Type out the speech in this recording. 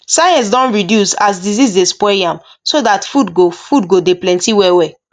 science don reduce as disease dey spoil yam so that food go food go de plenty well well